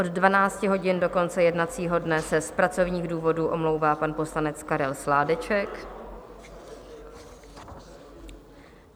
Od 12 hodin do konce jednacího dne se z pracovních důvodů omlouvá pan poslanec Karel Sládeček.